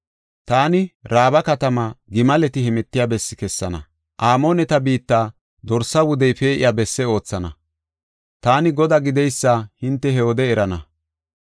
Taani Raaba katamaa gimaleti heemetiya bessi kessana; Amooneta biitta dorsaa wudey pee7iya bessi oothana. Taani Godaa gideysa hinte he wode erana.